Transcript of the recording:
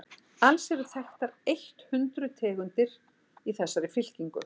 alls eru þekktar eitt hundruð tegundir í þessari fylkingu